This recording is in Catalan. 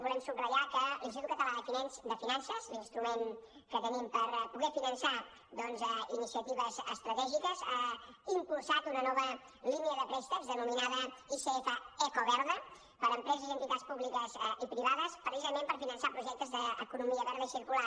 volem subratllar que l’institut català de finances l’instrument que tenim per poder finançar iniciatives estratègiques ha impulsat una nova línia de préstecs denominada icf ecoverda per a empreses i entitats públiques i privades precisament per finançar projectes d’economia verda i circular